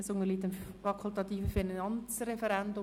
Das Geschäft unterliegt dem fakultativen Finanzreferendum.